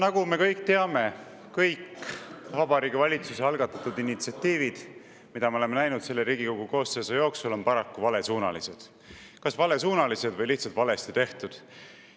Nagu me kõik teame, on paraku kõik Vabariigi Valitsuse algatatud initsiatiivid, mida me oleme näinud selle Riigikogu koosseisu jooksul, kas valesuunalised või lihtsalt valesti tehtud.